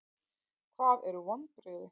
Hvað eru vonbrigði?